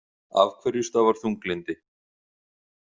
Af hverju stafar þunglyndi?